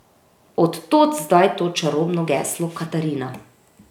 Od tod zdaj to čarobno geslo Katarina.